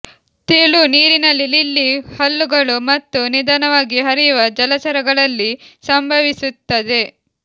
ತೆಳು ನೀರಿನಲ್ಲಿ ಲಿಲ್ಲಿ ಹಲ್ಲುಗಳು ಮತ್ತು ನಿಧಾನವಾಗಿ ಹರಿಯುವ ಜಲಚರಗಳಲ್ಲಿ ಸಂಭವಿಸುತ್ತದೆ